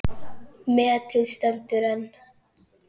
Metið stendur enn.